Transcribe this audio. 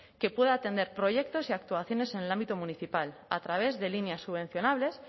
que pueda atender proyectos y actuaciones en el ámbito municipal a través de líneas subvencionables